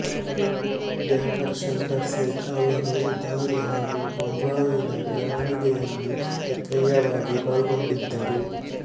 banker Shankar Seth ರವರು ಉದಾರಿ ಹಾಗೂ ಬೊಂಬಾಯಿನ ಬೆಳವಣಿಗೆಯಲ್ಲಿ ಸಕ್ರಿಯವಾಗಿ ಪಾಲ್ಗೊಂಡಿದ್ದರು